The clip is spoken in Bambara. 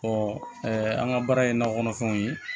an ka baara ye nakɔ kɔnɔfɛnw ye